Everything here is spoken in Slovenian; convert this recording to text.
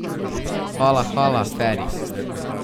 Hvala, hvala, Feri.